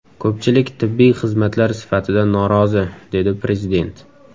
Ko‘pchilik tibbiy xizmatlar sifatidan norozi”, – dedi Prezident.